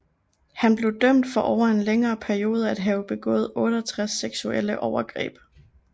Han blev dømt for over en længere periode at have begået 68 seksuelle overgreb